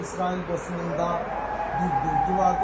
Az öncə İsrail bassında bir bilgi vardı.